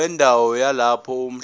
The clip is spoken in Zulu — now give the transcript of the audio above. wendawo yalapho umhlaba